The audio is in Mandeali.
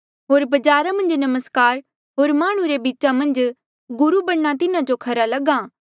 होर बजारा मन्झ नमस्कार होर माह्णुं रे बीचा मन्झ गुरु बणना तिन्हा जो खरा लग्हा